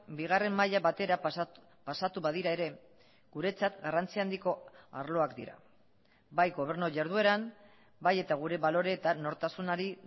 bigarren maila batera pasatu badira ere guretzat garrantzia handiko arloak dira bai gobernu jardueran bai eta gure balore eta nortasunari